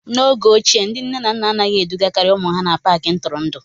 N'oge ochie, ndị nne na nna anaghị edugakarị ụmụ ha n'Paakị ntụrụndụ